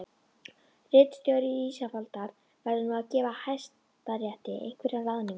Ritstjóri Ísafoldar verður nú að gefa hæstarétti einhverja ráðningu